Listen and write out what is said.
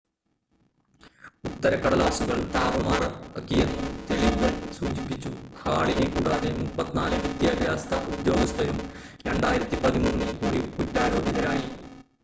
ഉത്തരക്കടലാസുകൾ താറുമാറാക്കിയെന്നും തെളിവുകൾ സൂചിപ്പിച്ചു ഹാളിനെ കൂടാതെ 34 വിദ്യാഭ്യാസ ഉദ്യോഗസ്ഥരും 2013-ൽ കൂടി കുറ്റാരോപിതരായി